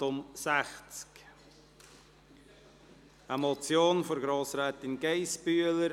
Es handelt sich um eine Motion von Grossrätin Geissbühler: